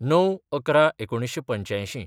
०९/११/१९८५